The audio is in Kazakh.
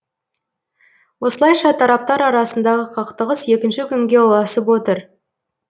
осылайша тараптар арасындағы қақтығыс екінші күнге ұласып отыр